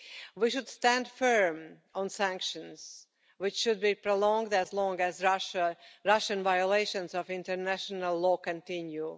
We should stand firm on sanctions, which should be prolonged for as long as Russian violations of international law continue.